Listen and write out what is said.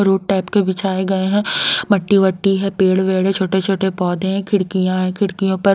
road type के बिछाए गए हैं मट्टी-वट्टी है पेड़-वेड़ है छोटे-छोटे पौधे हैं खिड़कियां हैं खिड़कियों पर--